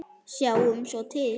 Sjáum svo til.